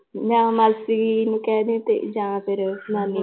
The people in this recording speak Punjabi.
ਮੈਂ ਮਾਸੀ ਨੂੰ ਕਹਿ ਦੇ ਤੇ ਜਾਂ ਫਿਰ ਨਾਨੀ